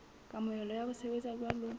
kamohelo ya ho sebetsa jwalo